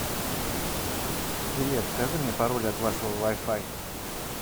привет скажи мне пароль от вашего вай фай